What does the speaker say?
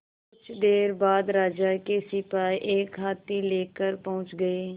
कुछ देर बाद राजा के सिपाही एक हाथी लेकर पहुंच गए